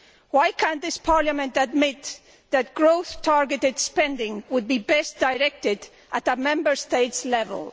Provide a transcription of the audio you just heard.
Why can this Parliament not admit that growth targeted spending would be best directed at Member State level?